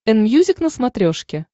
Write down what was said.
энмьюзик на смотрешке